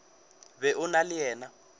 be o na le yena